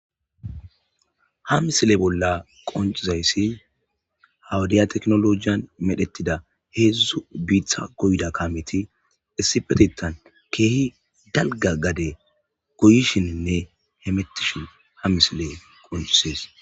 Ha misile bolla qoncizayssi hawudiya teknolojiyan medhettida heedzdzu biitha goyda kamiti essipetetan keehi dalga gade goyishininne hemettishin ha misile qoncisees.